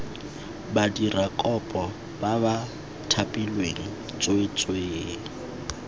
badirakopo ba ba thapilweng tsweetswee